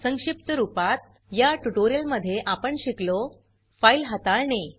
संक्षिप्त रूपात या ट्यूटोरियल मध्ये आपण शिकलो फाइल हाताळणे